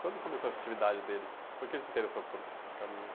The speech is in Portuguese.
Quando começou essa atividade dele, por que ele se interessou por, por caminhão?